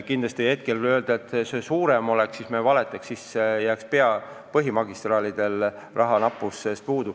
Kindlasti poleks õige öelda, et see protsent peaks veel suurem olema – siis jääks põhimagistraalidele raha väheseks.